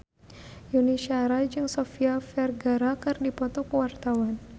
Yuni Shara jeung Sofia Vergara keur dipoto ku wartawan